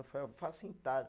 Eu falei, eu faço entalho.